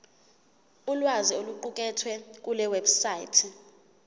ulwazi oluqukethwe kulewebsite